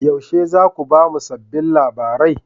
Yaushe za ku ba mu sabbin labarai?